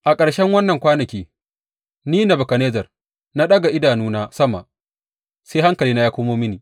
A ƙarshen waɗannan kwanaki, ni, Nebukadnezzar, na ɗaga idanuna sama, sai hankalina ya komo mini.